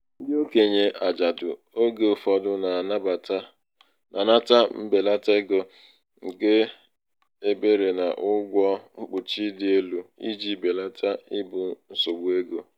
ndị okenye ajadu oge ụfọdụ na-anata mbelata ego nke ebere n'ụgwọ mkpuchi dị elu iji belata ibu nsogbu ego.